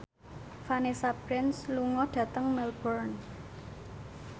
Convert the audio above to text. Vanessa Branch lunga dhateng Melbourne